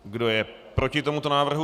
Kdo je proti tomuto návrhu?